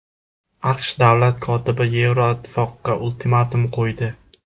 AQSh Davlat kotibi Yevroittifoqqa ultimatum qo‘ydi.